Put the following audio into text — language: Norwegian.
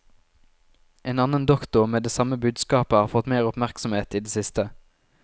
En annen doktor med det samme budskapet har fått mer oppmerksomhet i det siste.